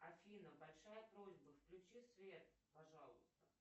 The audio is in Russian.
афина большая просьба включи свет пожалуйста